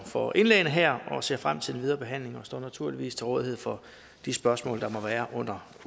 for indlæggene her og jeg ser frem til den videre behandling og står naturligvis til rådighed for de spørgsmål der må være under